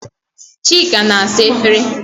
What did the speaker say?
Chika na-asa efere.